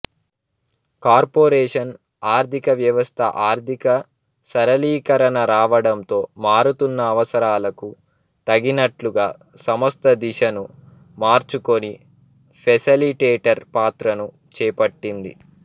corporation ఆర్థిక వ్యవస్థ ఆర్థిక సరళీకరణ రావడంతో మారుతున్న అవసరాలకు తగినట్లుగా సంస్థ దిశను మార్చుకొని ఫెసిలిటేటర్ పాత్రను చేపట్టింది